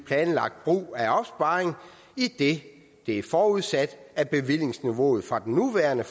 planlagt brug af opsparingen idet det er forudsat at bevillingsniveauet fra den nuværende